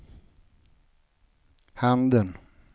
handen